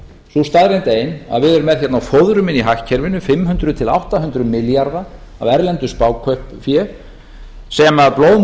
sú staðreynd ein að við erum með hérna á fóðrum í hagkerfinu fimm hundruð til átta hundruð milljarða af erlendu spákaupsfé sem blóðmjólkar vaxtamuninn